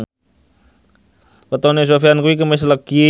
wetone Sofyan kuwi Kemis Legi